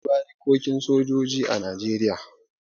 Akwai barikokin sojoji a Najeriya.